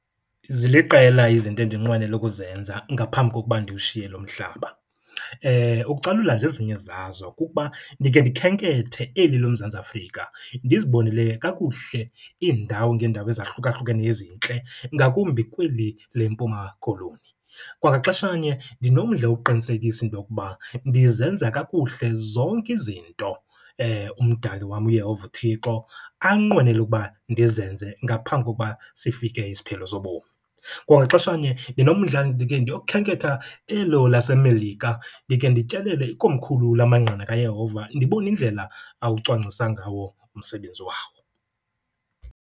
Ziliqela izinto endinqwenela ukuzenza ngaphambi kokuba ndiwushiye lo mhlaba. Ukucalula nje ezinye zazo, kukuba ndike ndikhenkethe eli loMzantsi Afrika ndizibonele kakuhle iindawo ngeendawo ezahlukahlukeneyo ezintle, ngakumbi kweli leMpuma Koloni. Kwangaxesha nye ndinomdla wokuqinisekisa into okuba ndizenza kakuhle zonke izinto uMdali wam, uYehova uThixo, anqwenela ukuba ndizenze ngaphambi kokuba sifike isiphelo sobomi. Kwangaxesha nye ndinomdla ndike ndiyokhenketha elo laseMelika, ndike ndityelele ikomkhulu lamaNgqina kaYehova ndibone indlela awucwangcisa ngawo umsebenzi wawo.